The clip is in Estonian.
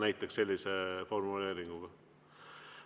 Näiteks sellise formuleeringuga.